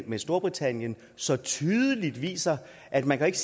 med storbritannien så tydeligt viser at man jo ikke